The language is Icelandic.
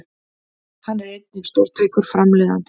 Hann er einnig stórtækur framleiðandi